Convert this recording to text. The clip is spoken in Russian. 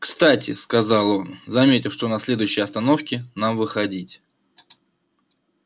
кстати сказал он заметив что на следующей остановке нам выходить